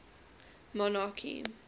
monarchy